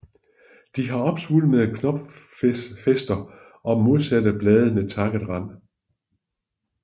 De har opsvulmede knopfæster og modsatte blade med takket rand